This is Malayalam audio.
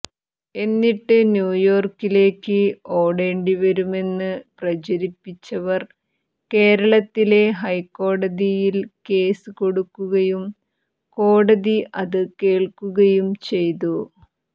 എന്നിട്ട് ന്യൂയോർക്കിലേക്ക് ഓടേണ്ടിവരുമെന്ന് പ്രചരിപ്പിച്ചവർ കേരളത്തിലെ ഹൈക്കോടതിയിൽ കേസ് കൊടുക്കുകയും കോടതി അത് കേൾക്കുകയും ചെയ്തു